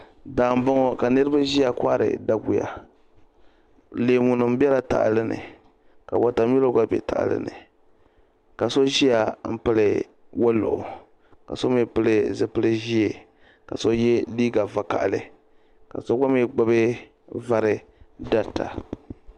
Daa mbɔŋɔ ka niriba ziya kɔhiri daguya leemu nima bɛ la tahali ni ka wata mili gba bɛ tahali ni ka so ziya n pili woluɣu ka so mi pili zupiligu zɛɛ ka so ye liiga vakahali ka so gba mi vari dari ta.